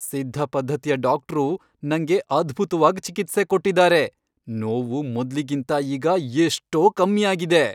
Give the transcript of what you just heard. ಸಿದ್ಧ ಪದ್ಧತಿಯ ಡಾಕ್ಟ್ರು ನಂಗೆ ಅದ್ಭುತ್ವಾಗ್ ಚಿಕಿತ್ಸೆ ಕೊಟ್ಟಿದ್ದಾರೆ, ನೋವು ಮೊದ್ಲಿಗಿಂತ ಈಗ ಎಷ್ಟೋ ಕಮ್ಮಿ ಆಗಿದೆ.